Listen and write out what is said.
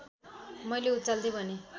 मैले उचाल्दै भनेँ